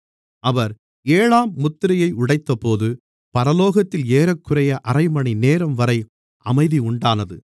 அவர் ஏழாம் முத்திரையை உடைத்தபோது பரலோகத்தில் ஏறக்குறைய அரைமணிநேரம் வரை அமைதி உண்டானது